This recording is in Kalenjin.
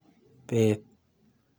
Bet.